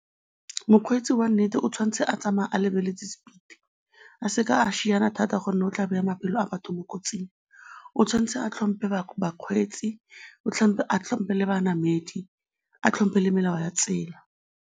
Mokgweetsi wa nnete o tshwanetse a tsamaya a lebeletse speed-i, a se ka a šiana thata gonne o tla baya maphelo a batho mo kotsing. O tshwanetse a tlhompe bakgweetsi, a tlhompe le banamedi, a tlhompe le melao ya tsela.